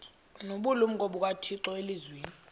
nobulumko bukathixo elizwini